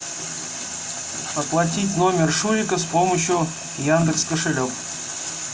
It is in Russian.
оплатить номер шурика с помощью яндекс кошелек